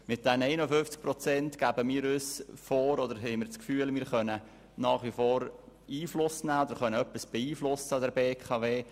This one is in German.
Mit den 51 Prozent haben wir das Gefühl, bei der BKW nach wie vor etwas beeinflussen zu können.